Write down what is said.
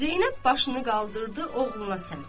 Zeynəb başını qaldırdı oğluna səmt.